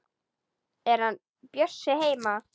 Er hann Bjössi heima?